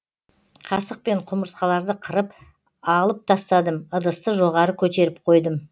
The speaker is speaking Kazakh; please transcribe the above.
қасықпен құмырсқаларды қырып алып тастадым ыдысты жоғары көтеріп қойдым